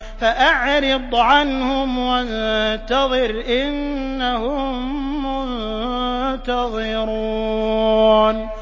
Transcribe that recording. فَأَعْرِضْ عَنْهُمْ وَانتَظِرْ إِنَّهُم مُّنتَظِرُونَ